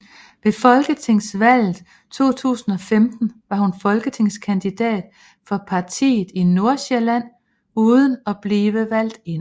Ved folketingsvalget 2015 var hun folketingskandidat for partiet i Nordsjælland uden at blive valgt ind